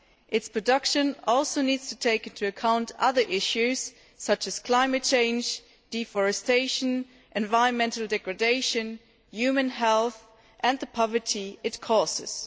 its production also needs to take into account other issues such as climate change, deforestation, environmental degradation, human health, and the poverty it causes.